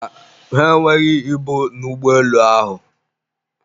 mba, ha enweghị ibu n'ụgbọelu ahụ